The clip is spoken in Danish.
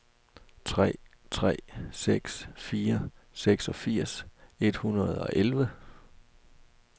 tre tre seks fire seksogfirs et hundrede og elleve